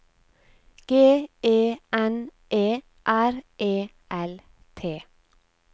G E N E R E L T